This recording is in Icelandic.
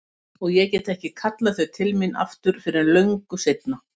Og ég get ekki kallað þau til mín aftur fyrr en löngu seinna.